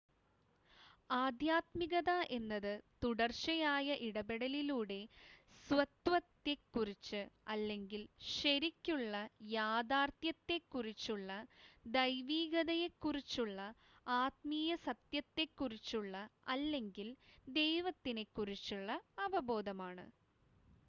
ആദ്ധ്യാത്മികത എന്നത് തുടർച്ചയായ ഇടപെടലിലൂടെ സ്വത്വത്തെക്കുറിച്ച് അല്ലെങ്കിൽ ശരിക്കുള്ള യഥാർത്ഥ്യത്തെക്കുറിച്ചുള്ള ദൈവീകതയെക്കുറിച്ചുള്ള ആത്മീയ സത്യത്തെക്കുറിച്ചുള്ള അല്ലെങ്കിൽ ദൈവത്തിനെക്കുറിച്ചുള്ള അവബോധമാണ്